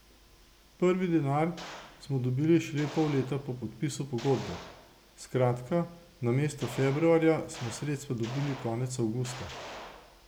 Prvi denar smo dobili šele pol leta po podpisu pogodbe, skratka, namesto februarja, smo sredstva dobili konec avgusta.